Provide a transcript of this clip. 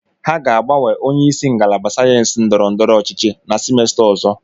ha ga-agbanwe onye isi ngalaba sayensị ndọrọ ndọrọ ọchịchị na semester ọzọ.